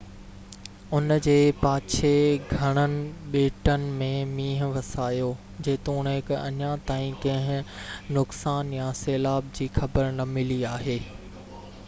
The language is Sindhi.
ان جي پاڇي گهڻن ٻيٽن م مينهن وسايو جيتوڻڪ اڃا تائين ڪنهن نقصان يا سيلاب جي خبر نہ ملي آهي